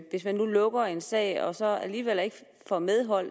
hvis man nu lukker en sag og så alligevel ikke får medhold